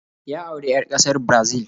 Ya auri 'yar kasar Brazil